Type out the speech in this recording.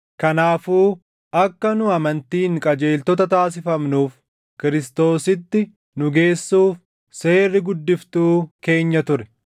Kanaafuu akka nu amantiin qajeeltota taasifamnuuf Kiristoositti nu geessuuf seerri guddiftuu keenya ture.